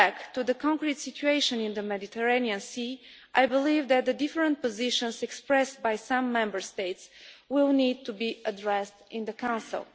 Coming back to the actual situation in the Mediterranean Sea, I believe that the different positions expressed by some Member States will need to be addressed in the Council.